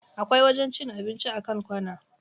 Akwai wajen cin abinci a kan kwana.